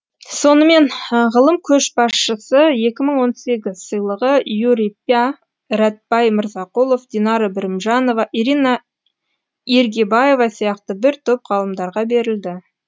сонымен ғылым көшбасшысы екі мың он сегіз сыйлығы юрий пя рәтбай мырзақұлов динара бірімжанова ирина иргибаева сияқты бір топ ғалымдарға берілді